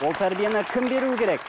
ол тәрбиені кім беруі керек